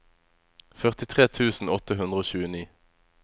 førtitre tusen åtte hundre og tjueni